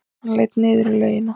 Hann leit niður í laugina.